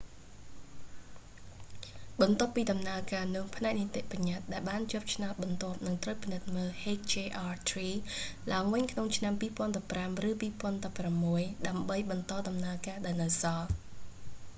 បន្ទាប់ពីដំណើរការនោះ ផ្នែកនីតិបញ្ញតិ្តដែលបានជាប់ឆ្នោតបន្ទាប់នឹងត្រូវពិនិត្យមើល hjr-3 ឡើងវិញក្នុងឆ្នាំ 2015 ឬ 2016 ដើម្បីបន្តដំណើរការដែលនៅសល់